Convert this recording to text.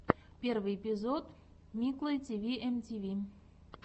первый эпизод миклой тиви эм ти ви